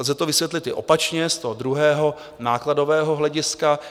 Lze to vysvětlit i opačně, z toho druhého, nákladového hlediska.